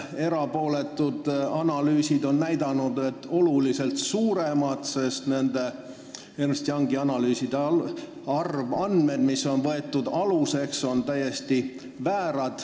Erapooletud analüüsid on näidanud, et see on oluliselt suurem, sest Ernst & Youngi analüüsi aluseks võetud arvandmed on täiesti väärad.